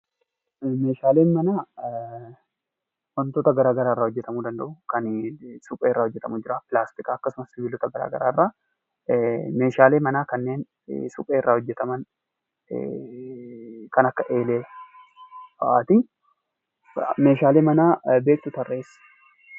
Meeshaaleen manaa wantoota garaa garaa irraa hojjetamuu danda'u. Kani supheerraa hojjetamu ni jira, pilaastikarraa akkasumas sibiilota garaa garaa irraa. Meeshaalee manaa kanneen supheerraa hojjetaman kan akka eelee faati. Meeshaalee manaa beektu tarreessi.